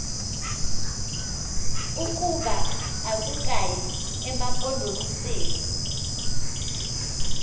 ukuba akukayi emampondomiseni